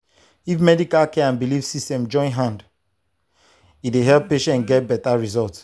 if medical care and belief system join hand e dey help patients get better result.